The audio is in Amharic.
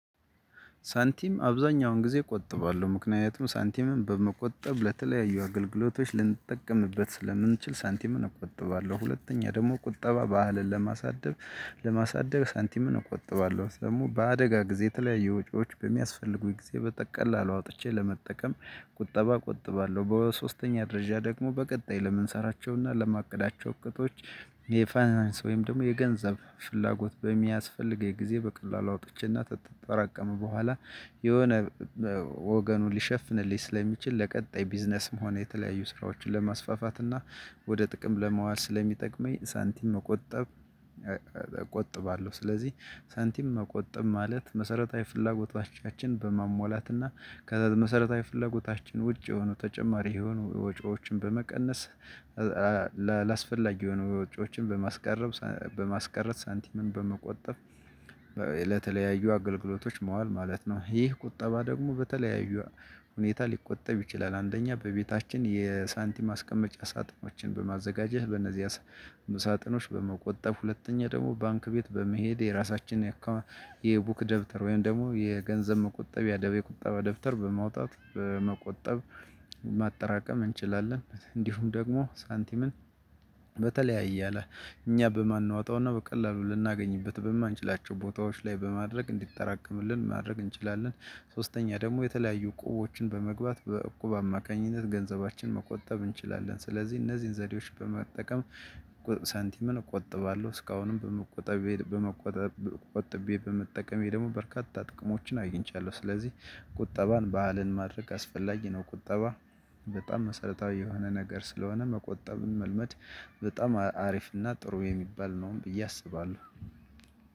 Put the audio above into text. ሳንቲም አብዛኛውን ጊዜ እቆጥባለሁ ምክንያቱም ሳንቲምን በመቆጠብ ለተለያዩ አገልግሎቶች ልንጠቀምበት ስለምንችል ሳንቲም እቆጥባለሁ። ሁለተኛ ደግሞ ቁጠባ ባህልን ለማሳደብ ለማሳደግ ሳንቲም እቆጥባለሁ። ደግሞ በአደጋ ጊዜ የተለያየ ወጪዎች በሚያስፈልጉኝ ጊዜ በተቀላሉ አውጥቼ ለመጠቀም ቁጠባ ቆጥባለሁ። በሶስተኛ ደረጃ ደግሞ በቀጣይ ለምንሰራቸውና ለማቅዳቸው እቅቶች ወይም ደግሞ የገንዘብ ፍላጎት በሚያስፈልገኝ ጊዜ በቀላሉ አውጥቼና ተጠራቀመ በኋላ የሆነ ወገኑን ሊሸፍንልኝ ስለሚችል ለቀጣይ ቢዝነስ መሆን የተለያዩ ስራዎችን ለማስፋፋት እና ወደ ጥቅም ለማዋል ስለሚጠቅመኝ ሳንቲም መቆጠብ እቆጥባለሁ። ስለዚህ ሳንቲም መቆጠብ ማለት መሰረታዊ ፍላጎቻችን በማሟላትና ከመሰረታዊ ፍላጎቻችን ውጭ የሆኑ ተጨማሪ የሆኑ ወጪዎችን በመቀነስ አላስፈላጊ የሆኑ ወጪዎችን በማስቀረብ በማስቀረት ሳንቲምን በመቆጠብ ለተለያዩ አገልግሎቶች መዋል ማለት ነው። ይህ ቁጠባ ደግሞ በተለያዩ ሁኔታ ሊቆጠብ ይችላል። አንደኛ በቤታችን የሳንቲም ማስቀመጫ ሳጥኖችን በማዘጋጀት በእነዚህ ሳጥኖች በመቆጠብ። ሁለተኛ ደግሞ ባንክ ቤት በመሄድ የራሳችን የአካባቢ የቡክ ደብተር ወይም ደግሞ የገንዘብ መቆጠብ ያደበ የቁጠባ ደብተር በማውጣት በመቆጠብ። ማጠራቀም እንችላለን። እንዲሁም ደግሞ ሳንቲምን በተለያየ አለ እኛ በማንወጣውና በቀላሉ ልናገኝበት በማንችላቸው ቦታዎች ላይ በማድረግ እንዲጠራቀምልን ማድረግ እንችላለን። ሶስተኛ ደግሞ የተለያዩ እቁቦችን በመግባት በእቁብ አማካኝነት ገንዘባችን መቆጠብ እንችላለን። ስለዚህ እነዚህን ዘዴዎች በመጠቀም ሳንቲምን እቆጥባለሁ። እስካሁንም በመቆጠብ በመቆጠብ ቆጥቤ በመጠቀሜ ደግሞ በርካታ ጥቅሞችን አገኝቻለሁ። ስለዚህ ቁጠባን ባህልን ማድረግ አስፈላጊ ነው። ቁጠባ በጣም መሰረታዊ የሆነ ነገር ስለሆነ መቆጠብን መልመድ በጣም አሪፍ እና ጥሩ የሚባል ነው። ብዬ አስባለሁ።